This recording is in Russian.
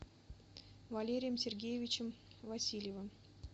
валерием сергеевичем васильевым